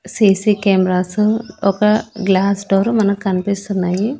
C C cameras ఒక glass door మనకు కనిపిస్తున్నాయి.